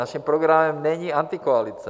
Naším programem není antikoalice.